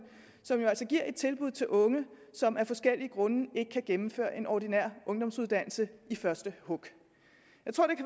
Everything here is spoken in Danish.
som jo altså giver et tilbud til unge som af forskellige grunde ikke kan gennemføre en ordinær ungdomsuddannelse i første hug